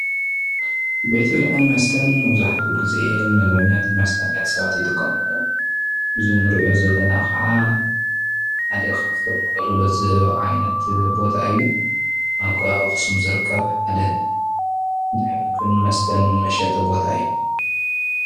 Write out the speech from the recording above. ቤት ብልዕን መስተን መብዛሕትኡ ግዜ ንምግብነትን ንመስተነትን ሰባት ይጥቀመሎም እዚ ንርኦ ዘለና ካዓ ሓደ ካብቶም ኣገልግሎት ዝህብ ዓይነት ቦታ እዩ ። ኣብ ከባቢ ኣክሱም ዝርከብ ሓደ ናይ ምግብን መስተን መሸጢ ቦታ እዩ።